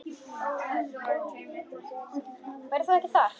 Verður þú ekki þar?